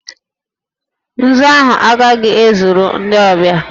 Nzu ahụ agaghị ezuru ndị ọbịa